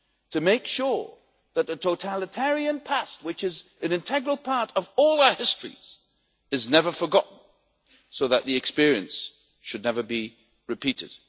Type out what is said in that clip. to make sure that the totalitarian past, which is an integral part of all our histories, is never forgotten so that the experience should never be repeated.